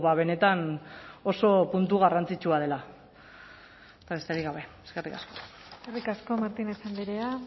benetan oso puntu garrantzitsua dela eta besterik gabe eskerrik asko eskerrik asko martinez andrea